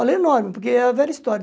Olha, é enorme, porque é a velha história.